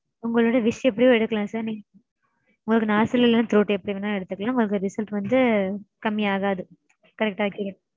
உங்களுடைய wish எப்படியோ எடுக்கலாம் sir. உங்களுக்கு nostril இல்ல throat எப்படி வேணுனாலும் எடுத்துக்கலாம். உங்களுக்கு result வந்து கம்மியாகாது. correct ஆ